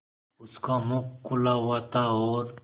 उसका मुख खुला हुआ था और